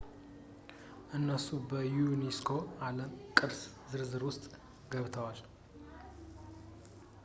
እነሱ በ ዩኔስኮ የዓለም ቅርስ ዝርዝር ውስጥ ገብተዋል